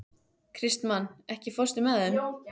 Kristmann, ekki fórstu með þeim?